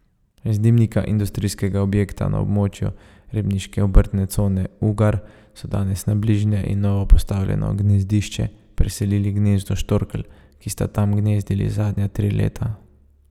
Z dimnika industrijskega objekta na območju ribniške obrtne cone Ugar so danes na bližnje in novopostavljeno gnezdišče preselili gnezdo štorkelj, ki sta tam gnezdili zadnja tri leta.